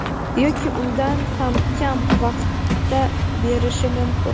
yoki undan ham kam vaqtda berishi mumkin.